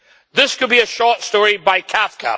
This could be a short story by Kafka